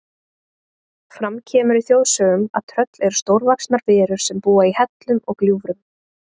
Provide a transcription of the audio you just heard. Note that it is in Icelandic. Fram kemur í þjóðsögum að tröll eru stórvaxnar verur sem búa í hellum og gljúfrum.